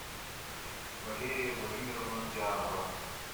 валерия владимировна дианова